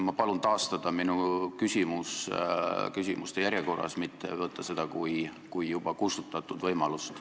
Ma palun taastada minu küsimus küsimuste järjekorras, mitte võtta seda kui juba kustutatud võimalust.